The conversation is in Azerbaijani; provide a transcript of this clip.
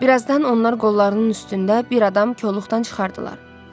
Birazdan onlar qollarının üstündə bir adam koluqdan çıxardılar.